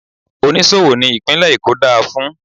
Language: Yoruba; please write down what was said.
Oníṣòwò ni ìpínlè Èkó dá a fún.